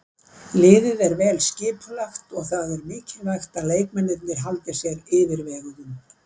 Liðið er vel skipulagt og það er mikilvægt að leikmennirnir haldi sér yfirveguðum.